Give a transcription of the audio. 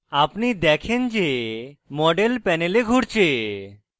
আপনি দেখেন যে model panel ঘুরছে